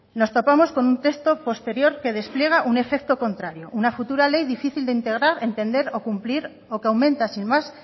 nos topamos con un texto posterior que despliega un efecto contrario una futura ley difícil de integrar entender o cumplir o que aumenta sin más